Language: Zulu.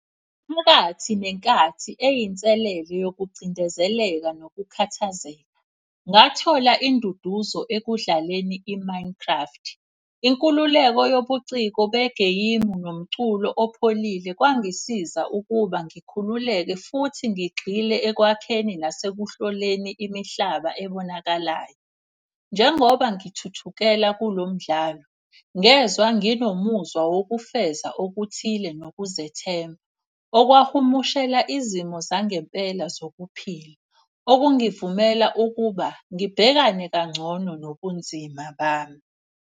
Inkathi nenkathi eyinselele yokucindezeleka nokukhathazeka. Ngathola induduzo ekudlaleni i-Minecraft. inkululeko yobuciko begeyimu nomculo opholile kwangisiza ukuba ngikhululeke futhi ngigxile ekwakheni nasekuhloleni imihlaba ebonakalayo. Njengoba ngithuthukela kulo mdlalo, ngezwa nginomuzwa wokufeza okuthile nokuzethemba. Okwahumushela izimo zangempela zokuphila, okungivumela ukuba ngibhekane kangcono nobunzima bami.